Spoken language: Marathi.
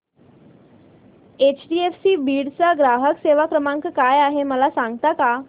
एचडीएफसी बीड चा ग्राहक सेवा क्रमांक काय आहे मला सांगता का